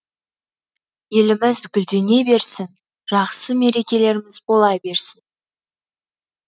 еліміз гүлдене берсін жақсы мерекеліріміз бола берсін